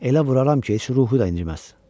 Elə vuraram ki, heç ruhu da inciməz.